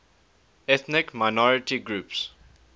ethnic minority groups